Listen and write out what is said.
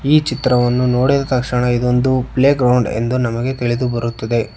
ಈ ಚಿತ್ರವನ್ನು ನೋಡಿದ ತಕ್ಷಣ ಇದೊಂದು ಪ್ಲೇಗ್ರೌಂಡ್ ಎಂದು ನಮಗೆ ತಿಳಿದು ಬರುತ್ತದೆ.